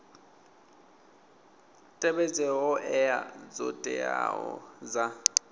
tevhedze hoea dzo teaho dza